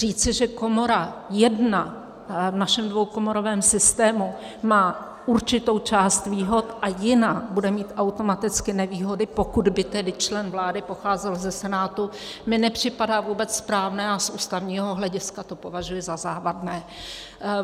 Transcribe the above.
Říci, že komora jedna v našem dvoukomorovém systému má určitou část výhod a jiná bude mít automaticky nevýhody, pokud by tedy člen vlády pocházel ze Senátu, mi nepřipadá vůbec správné a z ústavního hlediska to považuji za závadné.